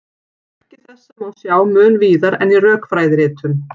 Merki þessa má sjá mun víðar en í rökfræðiritunum.